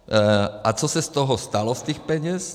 A co se z toho stalo, z těch peněz?